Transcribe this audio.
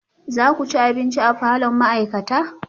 Za ku ci abinci a falon ma'aikata?